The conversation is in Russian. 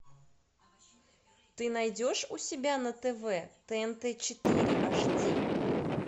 ты найдешь у себя на тв тнт четыре аш ди